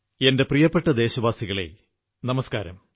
എന്റെ പ്രിയപ്പെട്ട ദേശവാസികളേ നമസ്കാരം